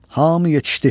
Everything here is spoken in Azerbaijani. Hamı yetişdi.